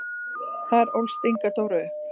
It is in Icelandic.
Þar ólst Inga Dóra upp.